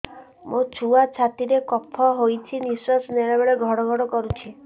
ମୋ ଛୁଆ ଛାତି ରେ କଫ ହୋଇଛି ନିଶ୍ୱାସ ନେଲା ବେଳେ ଘଡ ଘଡ କରୁଛି